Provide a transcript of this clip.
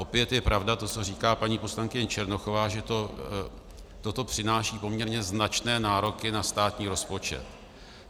Opět je pravda to, co říká paní poslankyně Černochová, že toto přináší poměrně značné nároky na státní rozpočet.